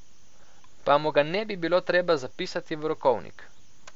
Pa mu ga ne bi bilo treba zapisati v rokovnik.